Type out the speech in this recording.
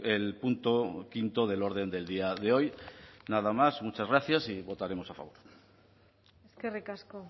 el punto quinto del orden del día de hoy nada más muchas gracias y votaremos a favor eskerrik asko